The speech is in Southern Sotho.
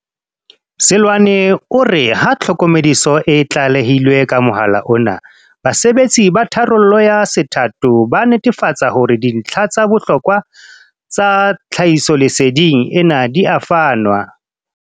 Seloane o re ha tlhokomediso e tlalehilwe ka mohala ona, basebetsi ba tharollo ya se thato ba netefatsa hore dintlha tsa bohlokwa tsa tlhahisolese ding ena di a fanwa.